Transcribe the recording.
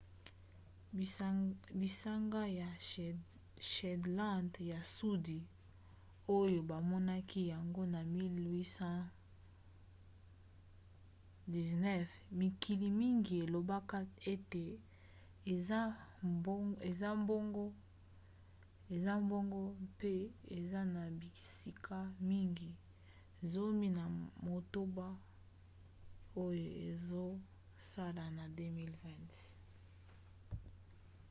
bisanga ya shetland ya sudi oyo bamonaki yango na 1819 mikili mingi elobaka ete eza ya bango mpe eza na bisika mingi zomi na motoba oyo ezosala na 2020